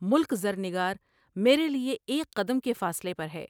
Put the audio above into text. ملک زرنگا رمیرے لیے ایک قدم کے فاصلے پر ہے ۔